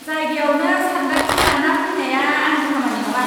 जायगायावनो सानदांथि लाना फैनाया आंनि खामानि नङा!